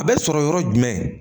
A bɛ sɔrɔ yɔrɔ jumɛn